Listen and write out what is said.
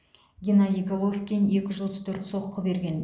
геннадий головкин екі жүз отыз төрт соққы берген